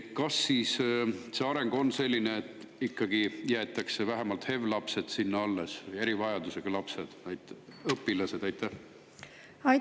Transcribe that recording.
Kas areng on selline, et ikkagi jäetakse vähemalt HEV-lapsed, erivajadusega lapsed, õpilased sinna alles?